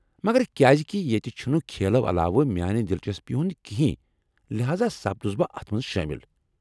مگر كیازِكہِ ییٚتہ چُھنہٕ کھیلو علاوٕ میانہِ دِلچسپی ہُند كِہینۍ ، لہاذا سپدُس بہٕ اتھ منز شٲمِل ۔